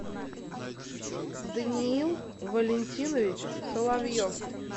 даниил валентинович соловьев